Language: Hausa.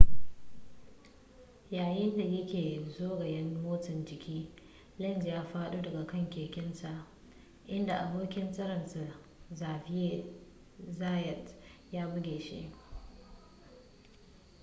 yayin da ya ke zagayen motsa jiki lenz ya faɗo daga kan kekensa inda abokin tserensa xavier zayat ya buge shi